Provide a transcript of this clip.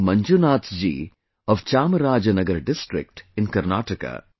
Manjunath ji of Chamrajnagar district in Karnataka